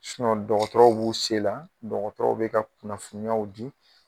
dɔgɔtɔrɔw b'u se la dɔgɔtɔrɔw bɛ kunnafoniyaw di